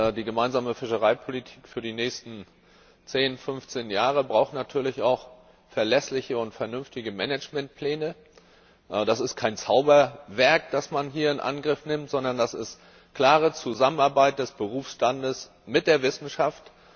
Die gemeinsame Fischereipolitik für die nächsten zehn bis fünfzehn Jahre braucht natürlich auch verlässliche und vernünftige Managementpläne. Das ist kein Zauberwerk, das man hier in Angriff nimmt, sondern das ist klare Zusammenarbeit des Berufsstandes mit der Wissenschaft.